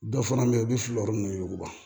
Dɔ fana bɛ yen u bɛ fili yɔrɔ min na